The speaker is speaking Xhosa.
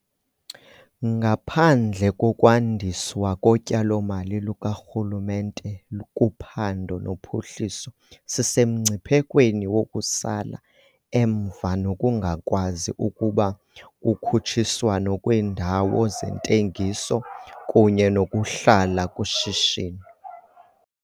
Ngaphandle kokwandiswa kotyalomali lukarhulumente kuphando nophuhliso sisemngciphekweni wokusala emva nokungakwazi ukuba kukhutshiswano kwiindawo zentengiso kunye nokuhlala kushishino.